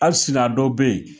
Hali sini a dɔ bɛ yen